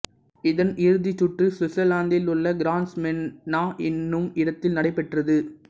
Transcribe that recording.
இதன் இறுதிச் சுற்று சுவிட்சர்லாந்திலுள்ள கிரான்ஸ்மன்டனா என்னும் இடத்தில் நடைபெற்றது